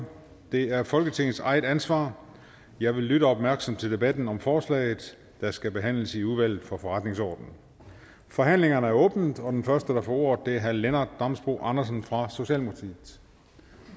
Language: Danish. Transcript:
det er folketingets eget ansvar jeg vil lytte opmærksomt til debatten om forslaget der skal behandles i udvalget for forretningsordenen forhandlingerne er åbnet og den første der får ordet er herre lennart damsbo andersen fra socialdemokratiet